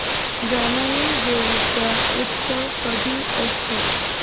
जानाई देवी चा उत्सव कधी असतो